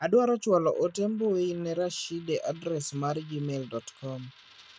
Adwaro chwalo ote mbui ne Rashide adres mar gmai.com.